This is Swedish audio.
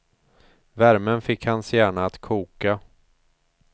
Värmen fick hans hjärna att koka.